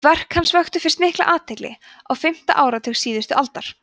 verk hans vöktu fyrst mikla athygli á fimmta áratug síðustu aldar